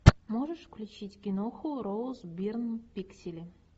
можешь включить киноху роуз бирн пиксели